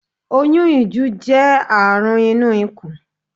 Oyún ìju jẹ́ àrùn inú ikù